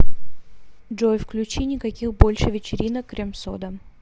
джой включи никаких больше вечеринок крем сода